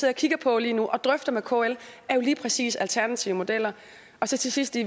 og kigger på lige nu og drøfter med kl jo lige præcis er alternative modeller og så til sidst i